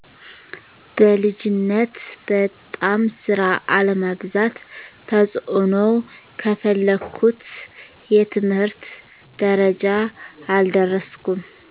በልጅነት በጣም ስራ አለማብዛት ተጽእኖው ከፈለኩት የትምህርት ደረጃ አልደረስኩም